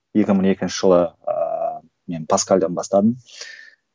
екі мың екінші жылы ыыы мен паскальдан бастадым